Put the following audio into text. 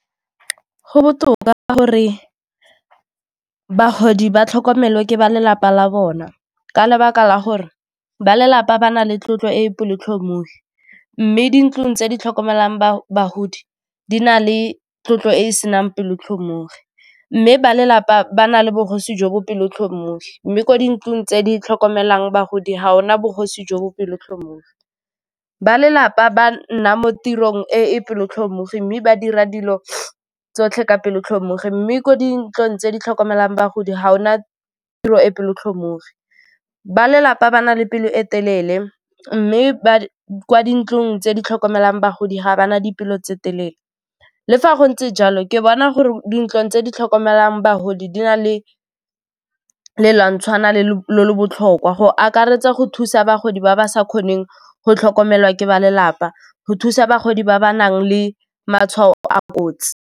Go botoka ka gore bagodi ba tlhokomelwa ke ba lelapa la bona ka lebaka la gore ba lelapa ba na le tlotlo e e pelo-tlhomogi, mme dintlo tse di tlhokomelang bagodi di na le tlotlo e e senang pelo-tlhomogi, mme ba lelapa ba na le bogosi jo bo pelo-tlhomogi, mme kwa dintlong tse di tlhokomelang bagodi ga o na bogosi jo bo pelo-tlhomogi. Ba lelapa ba nna mo tirong e e kelotlhoko mmogo mme ba dira dilo tsotlhe ka pelo-tlhomogi, mme ko dintlong tse di tlhokomelang bagodi ga o na tiro e peo-tlhomogi, ba lelapa ba na le pelo e telele mme ba kwa dintlong tse di tlhokomelang bagodi ga ba na dipelo tse telele le fa go ntse jalo ke bona gore dintlong tse di tlhokomelang bagodi di na le le le botlhokwa go akaretsa go thusa bagodi ba ba sa kgoneng go tlhokomelwa ke ba lelapa, go thusa bagodi ba ba nang le matshwao a kotsi.